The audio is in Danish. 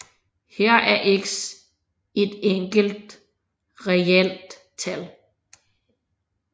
Her er x et enkelt reelt tal